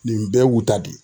Nin bɛɛ y'u ta de ye.